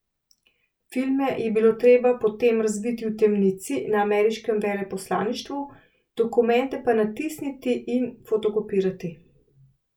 Filme je bilo treba potem razviti v temnici na ameriškem veleposlaništvu, dokumente pa natisniti in fotokopirati.